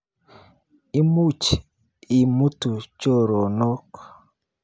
Imuch imutu choronok.